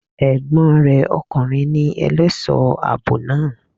Ègbón re okùnrin ni elésòó àbò naa